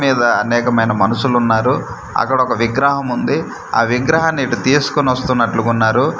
మీద అనేకమైన మనుషులున్నారు అక్కడ ఒక్క విగ్రహం ఉంది అ విగ్రహాని ఇటు తీసుకొని వొస్తునట్లుగా ఉన్నారు.